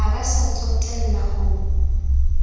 ha ba sa tsotella ho